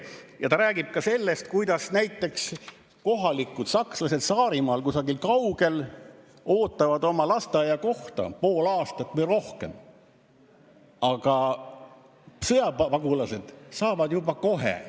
Ja ta räägib ka sellest, et näiteks kohalikud sakslased Saarimaal kusagil kaugel ootavad oma lasteaiakohta pool aastat või rohkem, aga sõjapagulased saavad juba kohe.